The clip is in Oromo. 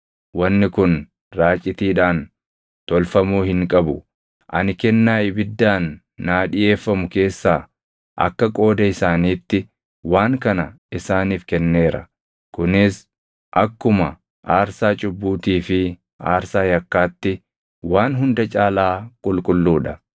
Wanni kun raacitiidhaan tolfamuu hin qabu; ani kennaa ibiddaan naa dhiʼeeffamu keessaa akka qooda isaaniitti waan kana isaaniif kenneera. Kunis akkuma aarsaa cubbuutii fi aarsaa yakkaatti waan hunda caalaa qulqulluu dha.